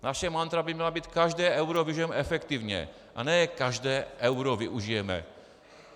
Naše mantra by měla být každé euro využijeme efektivně, a ne každé euro využijeme.